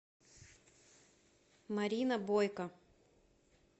марина бойко